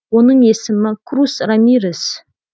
оның есімі крус рамирес